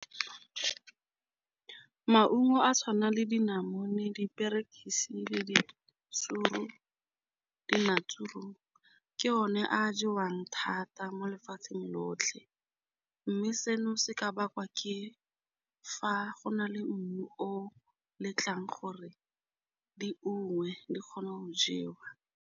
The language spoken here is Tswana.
Maungo a tshwana le dinamune, diperekisi le di di na ke one a jewang thata mo lefatshe lotlhe, mme seno se ka bakwa ke fa go na le mmu o letlang gore dingwe di kgone go jewa.